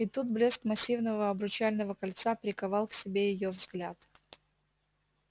и тут блеск массивного обручального кольца приковал к себе её взгляд